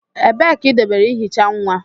Ebee ka idobere ihicha nwa?